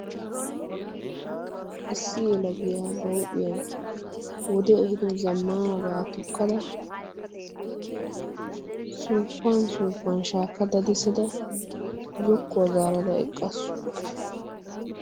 issi ela giyaa ba houphiyan wode ehido zammaanabaa tokkada suufan suufan shaakka dadessada zokkuwaa zaarada eqqaasu